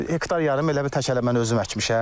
Hektar yarım elə bil təkələ mən özüm əkmişəm.